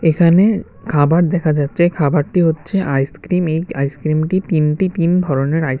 এখানে খাবার দেখা যাচ্ছে খাবারটি হচ্ছে আইসক্রিম এই আইসক্রিমটি তিনটি তিন ধরনের আইস--